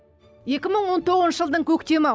екі мың он тоғызыншы жылдың көктемі